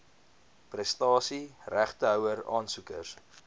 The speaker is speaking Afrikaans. prestasie regtehouer aansoekers